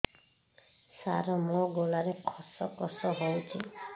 ସାର ମୋ ଗଳାରେ ଖସ ଖସ ହଉଚି